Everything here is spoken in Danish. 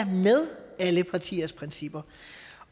med alle partiers principper